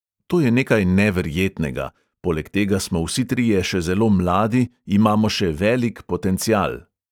To je nekaj neverjetnega, poleg tega smo vsi trije še zelo mladi, imamo še velik potencial.